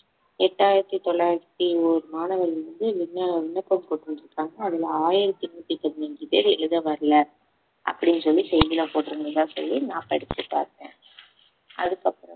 எட்டாயிரத்தி தொள்ளாயிரத்தி ஒரு மாணவர்கள் வந்து விண்ண~ விண்ணப்பம் கொண்டு வந்திருக்காங்க அதுல ஆயிரத்தி நூத்தி பதினஞ்சு பேர் எழுத வரல அப்படின்னு சொல்லி செய்தியில போட்டிருந்ததா சொல்லி நான் படிச்சு பார்த்தேன் அதுக்கு அப்ரோம்